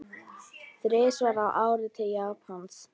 Þrisvar á ári til Japans?